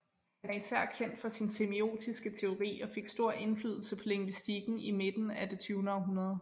Han er især kendt for sin semiotiske teori som fik stor indflydelse på lingvistikken i midten af det tyvende århundrede